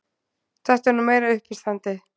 Þetta er nú meira uppistandið!